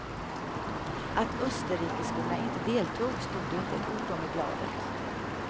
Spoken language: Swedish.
Att österrikiskorna inte deltog stod det inte ett ord om i bladet.